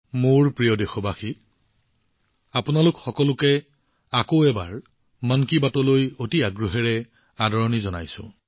মোৰ মৰমৰ দেশবাসীসকল মন কী বাতত আপোনালোক সকলোকে আকৌ এবাৰ উষ্ম আদৰণি জনাইছো